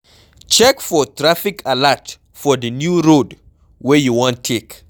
Check for traffic alert for di new road wey you wan take